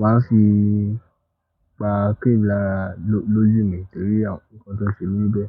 máa ń fi pa cream lára lójú mi torí àwọn nǹkan tó ń ṣẹmi bẹ́ẹ̀.